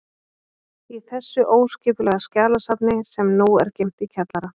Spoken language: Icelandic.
Í þessu óskipulega skjalasafni, sem nú er geymt í kjallara